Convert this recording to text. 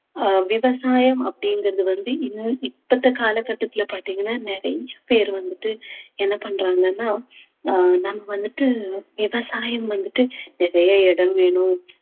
அஹ் விவசாயம் அப்படிங்கறது வந்து இன்னும் இப்ப இந்த கால கட்டத்துல பார்த்தீங்கன்னா நிறைய பேர் வந்துட்டு என்ன பண்றாங்கன்னா ஆஹ் நம்ம வந்துட்டு விவசாயம் வந்துட்டு நிறைய இடம் வேணும்